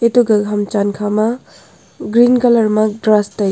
ato gaga ham chen kha ma green colour ma grass te--